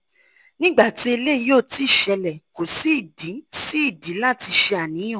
ni gbati eleyi oti sele ko si idi si idi lati se aniyan